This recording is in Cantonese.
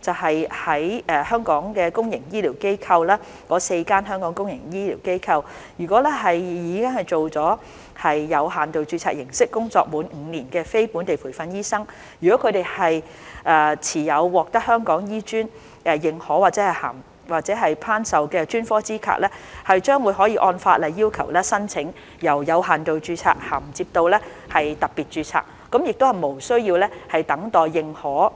在香港的公營醫療機構——該4間香港公營醫療機構，以有限度註冊形式，而工作滿5年的非本地培訓醫生，如果他們持有獲得香港醫專認可或頒授的專科資格，將可按法例要求，申請由有限度註冊銜接到特別註冊，無須等待認可